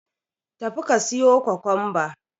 Tafi ka siyo Kwakwanbar.